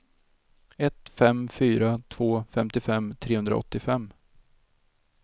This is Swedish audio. ett fem fyra två femtiofem trehundraåttiofem